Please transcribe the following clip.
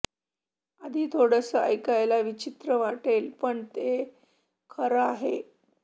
आधी थोडसं ऐकायला विचित्र वाटेल पण हो हे खरं आहे